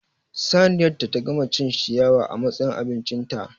Saniyar ta gama cin ciyawa a matsayin abincinta